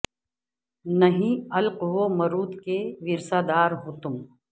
نہی علق و مروت کے ورثہ دار ہو تم